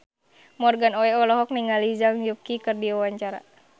Morgan Oey olohok ningali Zhang Yuqi keur diwawancara